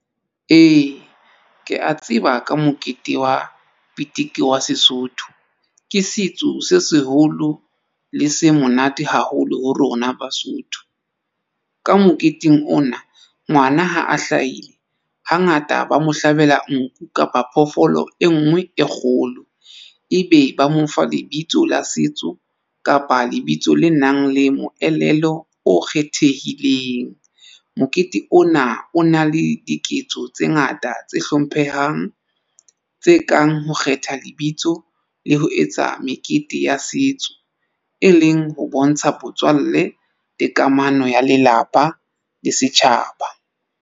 Ee, ke a tseba ka mokete wa pitiki wa Sesotho ke setso se seholo le se monate haholo ho rona Basotho. Ka moketeng ona ngwana ha a hlahile hangata ba mo hlabela nku kapa phoofolo e nngwe e kgolo, ebe ba mo fa lebitso la setso kapa lebitso le nang le moelelo o kgethehileng. Mokete ona o na le diketso tse ngata tse hlomphehang tse kang ho kgetha lebitso le ho etsa mekete ya setso, e leng ho bontsha botswalle le kamano ya lelapa le setjhaba.